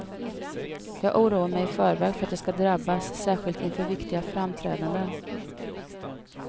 Jag oroar mig i förväg för att jag ska drabbas, särskilt inför viktiga framträdanden.